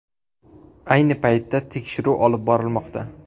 Ayni paytda tekshiruv olib borilmoqda.